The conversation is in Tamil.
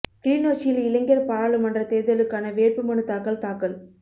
கிளிநொச்சியில் இளைஞா் பாராளுமன்ற தோ்தலுக்கான வேட்புமனுத்தாக்கல் தாக்கல்